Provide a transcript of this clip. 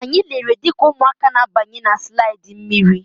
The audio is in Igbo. Anyị lere dịka ụmụaka na-abanye na slaidi mmiri.